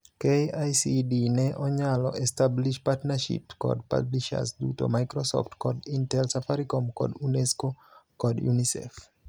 KICD ne onyalo establish partnerships kod publishers duto, Microsoft kod Intel, Safaricom, kod UNESCO kod UNICEF.